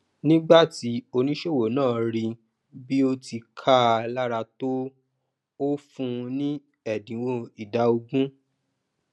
nígbà tí oníṣòwò náà ríi pé bí ó ti kaa lára tó ó fúnun ní ẹdinwo ìdá ogún